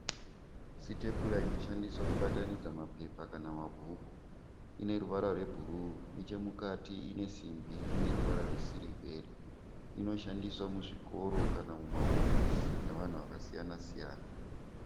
Sitepura inoshandiswa kubatanidza mapepa kana mabhuku. Ineruvara rwebhuruu nechemukati inesimbi ineruvara rwesirivheri. Inoshandiswa muzvikoro kana mumahofisi nevanhu vakasiyana-siyana.